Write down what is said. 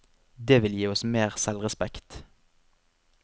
Det vil gi oss mer selvrespekt.